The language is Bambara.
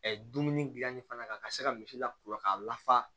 dumuni gilanni fana ka se ka misi la kura k'a la fa